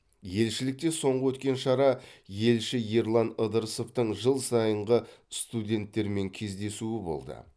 елшілікте соңғы өткен шара елші ерлан ыдырысовтың жыл сайынғы студенттермен кездесуі болды